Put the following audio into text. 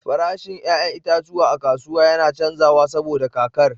Farashin 'ya'yan itatuwa a kasuwa yana canzawa saboda kakar.